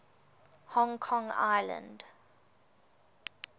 hong kong island